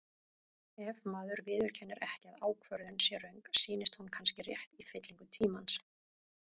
Ef maður viðurkennir ekki að ákvörðun sé röng, sýnist hún kannski rétt í fyllingu tímans.